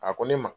A ko ne ma